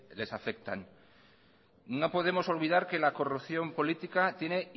les afectan no podemos olvidar que la corrupción política tiene